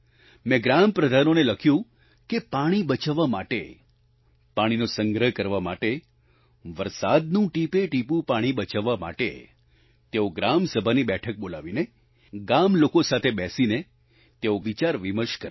મેં ગ્રામ પ્રધાનોને લખ્યું કે પાણી બચાવવા માટે પાણીનો સંગ્રહ કરવા માટે વરસાદનું ટીપેટીપું પાણી બચાવવા માટે તેઓ ગ્રામ સભાની બેઠક બોલાવીને ગામલોકો સાથે બેસીને તેઓ વિચારવિમર્શ કરે